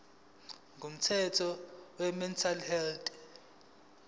komthetho wemental health